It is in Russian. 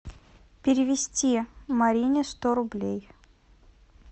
перевести марине сто рублей